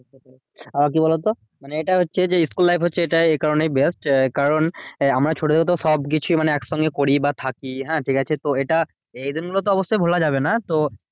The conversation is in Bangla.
আহ কি বলতো? মানে এটা হচ্ছে যে school life হচ্ছে এটা এই কারণেই best. এ কারণ আমরা ছোট থেকেতো সবকিছুই মানে একসঙ্গে করি বা থাকি, হ্যাঁ ঠিকাছে? তো এটা দিন গুলো তো অবশ্যই ভোলা যাবে না। তো